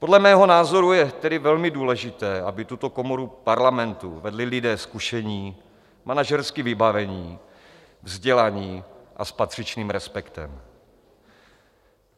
Podle mého názoru je tedy velmi důležité, aby tuto komoru Parlamentu vedli lidé zkušení, manažersky vybavení, vzdělaní a s patřičným respektem.